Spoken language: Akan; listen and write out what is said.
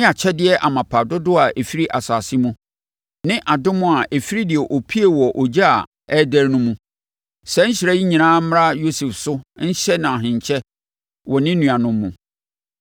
ne akyɛdeɛ amapa dodoɔ a ɛfiri asase mu, ne adom a ɛfiri deɛ ɔpuee wɔ ogya a ɛrederɛ no mu. Saa nhyira yi nyinaa mmra Yosef so nhyɛ no ahenkyɛ wɔ ne nuanom mu.